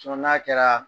n'a kɛra